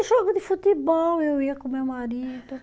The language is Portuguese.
Jogo de futebol eu ia com meu marido.